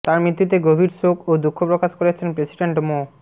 তাঁর মৃত্যুতে গভীর শোক ও দুঃখ প্রকাশ করেছেন প্রেসিডেন্ট মো